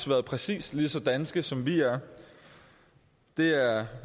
været præcis lige så danske som vi er det er